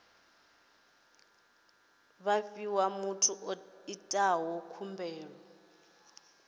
fhiwa muthu o itaho khumbelo